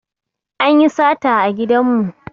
Anyi sata a gidan mu